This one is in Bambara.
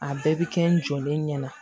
A bɛɛ bɛ kɛ n jɔlen ɲɛna